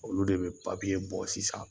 Olu de be bɔ sisan